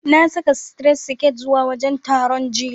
Na saka sitiret siket zuwa wajen taron, jiya.